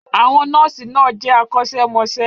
Àwọn nọ́ọ̀sì náà jẹ́ akọ́ṣẹ́mọṣẹ́.